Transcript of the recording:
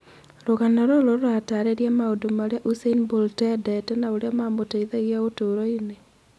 Rũgano rũrũ rũrataarĩiria maũndũ marĩa Usain Bolt eendete na ũrĩa mamũteithagia ũtũũro-inĩ.